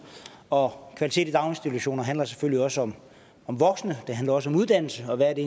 og kvalitet i daginstitutioner handler selvfølgelig også om voksne og det handler også om uddannelsen og hvad det